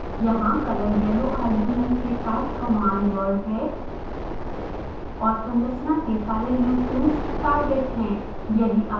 यहाँ color yellow argument के साथ command word है और संरचना के सारे leucines टारगेट है